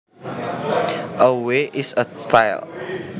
A way is a style